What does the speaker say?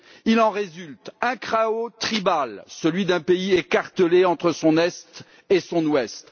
Il en résulte un chaos tribal, celui d'un pays écartelé entre son est et son ouest.